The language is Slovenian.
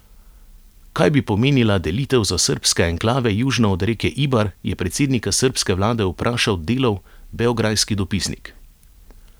Kaj bi pomenila delitev za srbske enklave južno od reke Ibar, je predsednika srbske vlade vprašal Delov beograjski dopisnik.